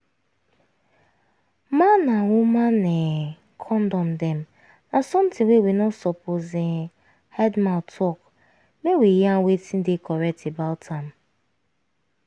man and woman[um]condom dem na something wey we no suppose um hide mouth talk make we yarn wetin dey correct about am